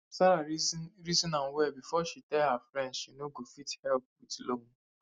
sarah reason reason am well before she tell her friend she no go fit help with loan